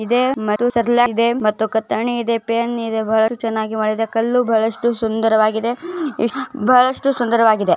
ಇಲ್ಲಿ ಬಹಳಷ್ಟು ಸುಂದರವಾಗಿದೆ ಫ್ಯಾನ್ ಹಾಕಿದ್ದಾರೆ ಲೈಟ್ ಹಾಕಿದ್ದಾರೆ ಮತ್ತು ಔಷದಿ ಹಾಕಿದ್ದಾರೆ ಮತ್ತು ಎಲ್ಲ ಇದೆ ಕತ್ತರಿ ಇದೆ ಪೆನ್ ಇದೆ